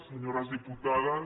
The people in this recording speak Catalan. senyores diputades